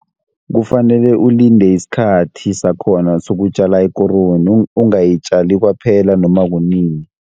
Kufanele ulinde isikhathi sakhona, sokutjala ikoroni ungayitjali kwaphela noma kunini.